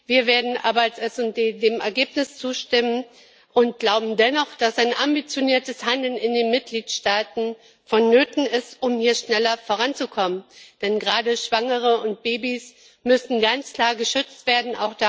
Wir werden aber als SD dem Ergebnis zustimmen und glauben dennoch, dass ein ambitioniertes Handeln in den Mitgliedstaaten vonnöten ist, um hier schneller voranzukommen, denn gerade Schwangere und Babys müssen ganz klar geschützt werden.